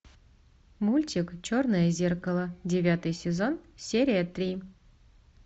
мультик черное зеркало девятый сезон серия три